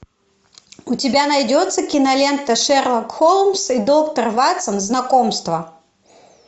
у тебя найдется кинолента шерлок холмс и доктор ватсон знакомство